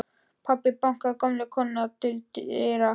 Pabbi bankaði og gömul kona kom til dyra.